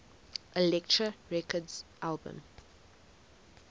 elektra records albums